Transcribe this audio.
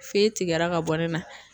Fe tigɛra ka bɔ ne na